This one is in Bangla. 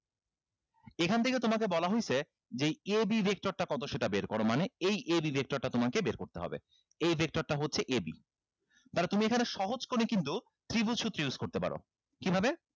এখান থেকে তোমাকে বলা হইছে যে এই a b vector তা কত সেটা বের করো মানে এই a b vector টা তোমাকে বের করতে হবে এই vector টা হচ্ছে a b মানে তুমি এখানে সহজ করে কিন্তু ত্রিভুজ সূত্র use করতে পারো কিভাবে